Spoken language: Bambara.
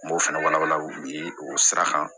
N b'o fana walawala o sira kan